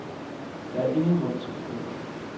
Der er ingen grund til bekymring.